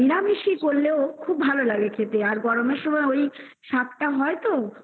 নিরামিষেই করলেও খুব ভালো লাগে খেতে আর গরমের সময় ওই শাক তা হয় তো